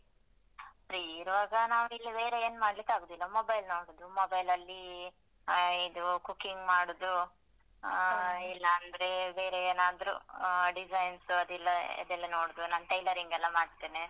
Free ಇರುವಾಗ ನಾವು ಇಲ್ಲಿ ಬೇರೆ ಏನ್ ಮಾಡ್ಲಿಕ್ಕಾಗುದಿಲ್ಲ mobile ನೋಡುದು mobile ಲಲ್ಲಿ ಅಹ್ ಇದು cooking ಮಾಡುದು ಆ ಇಲ್ಲಾಂದ್ರೆ ಬೇರೆ ಏನಾದ್ರೂ ಅಹ್ design ಅದಿಲ್ಲ ಅದೆಲ್ಲ ನೋಡುದು ನಾನ್ tailoring ಎಲ್ಲ ಮಾಡ್ತೇನೆ.